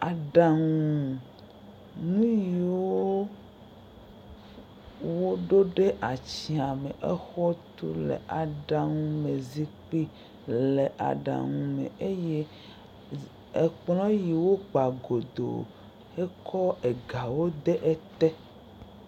Aɖanu nu yiwo, woɖo ɖe atsĩa me le exɔ tu le aɖaŋu le zikpui me aɖaŋu me eye ekplɔ yiwo kpa godo. Ekɔ egawo ɖe eye.